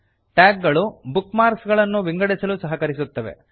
tag ಗಳು bookmarks ಗಳನ್ನು ವಿಂಗಡಿಸಲು ಸಹಕರಿಸುತ್ತವೆ